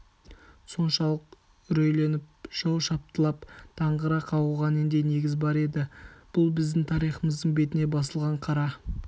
соншалық үрейленіп жау шаптылап даңғыра қағуға нендей негіз бар еді бұл біздің партиямыздың бетіне басылған қара